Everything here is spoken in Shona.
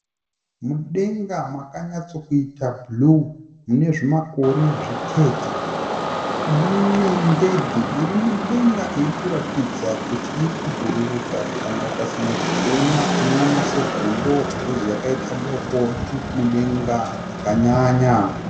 Mudenga makanyatsokuita bhuruu. Mune zvimakore zvitete. Mune ndenge iri mudenga iri kuratidza kuti iri kubhururuka kana ukasanyotsokuona unooona segondo bhikozi yakaita doko iri mudenga zvakanyanya.